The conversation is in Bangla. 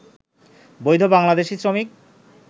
বৈধ বাংলাদেশি শ্রমিক